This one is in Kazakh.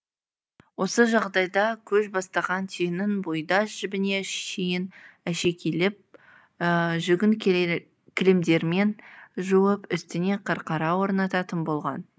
осы жағдайда көш бастаған түйенің бұйда жібіне шейін әшекейлеп жүгін кілемдермен жауып үстіне қарқара орнататын болған